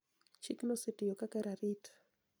Chikno osetiyo kaka rarit